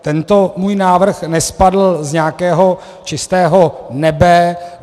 Tento můj návrh nespadl z nějakého čistého nebe.